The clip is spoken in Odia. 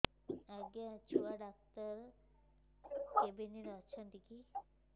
ଆଜ୍ଞା ଛୁଆ ଡାକ୍ତର କେ କେବିନ୍ ରେ ଅଛନ୍